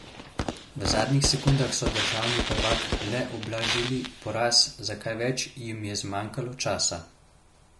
V zadnjih sekundah so državni prvak le ublažili poraz, za kaj več jim je zmanjkalo časa.